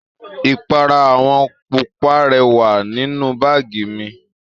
Ipara àwọ̀ pupa rẹ wà nínú báàgì mi